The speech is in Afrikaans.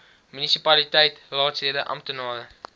munisipaliteit raadslede amptenare